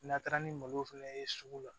N'a taara ni malo fɛnɛ ye sugu la